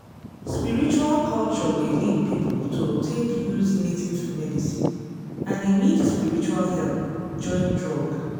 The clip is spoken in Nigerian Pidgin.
spiritual culture dey lead people to take use native medicine and e need spiritual help join drug.